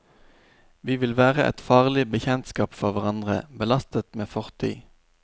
Vi vil være et farlig bekjentskap for hverandre, belastet med fortid.